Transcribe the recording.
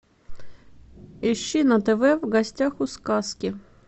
ищи на тв в гостях у сказки